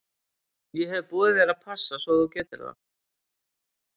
Ég hef boðið þér að passa svo að þú getir það.